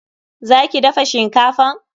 Za ki dafa shinkafan?